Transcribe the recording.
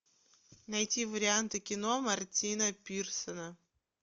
найти варианты кино мартина пирсона